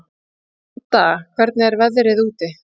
Manda, hvernig er veðrið úti?